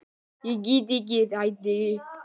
Ég get ekki hætt því.